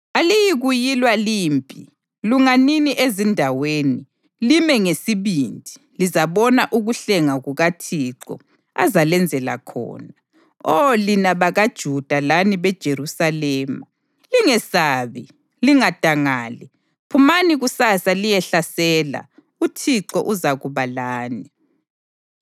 Aliyikuyilwa limpi. Lunganini ezindaweni; lime ngesibindi lizabona ukuhlenga kukaThixo azalenzela khona, Oh lina bakaJuda lani beJerusalema. Lingesabi, lingadangali. Phumani kusasa liyehlasela, uThixo uzakuba lani.’ ”